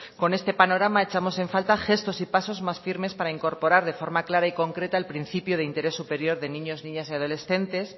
con este panorama echamos en falta gestos y pasos más firmes para incorporar de forma clara y concreta el principio de interés superior de niños niñas y adolescentes